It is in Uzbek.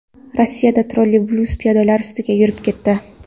Rossiyada trolleybus piyodalar ustiga yurib ketdi.